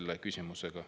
Aitäh!